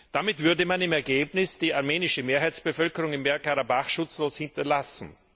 Damit würde man im Ergebnis die armenische Mehrheitsbevölkerung in Bergkarabach schutzlos zurücklassen.